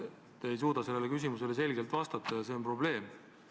Te ei suuda sellele selgelt vastata ja see on probleem.